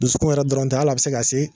Dusukun yɛrɛ dɔrɔnw tɛ, hali a bɛ se ka se.